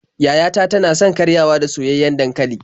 Yaya ta tana son karyawa da soyayyen dankali.